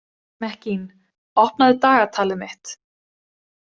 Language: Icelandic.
Mekkín, opnaðu dagatalið mitt.